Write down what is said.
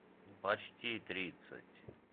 почти тридцать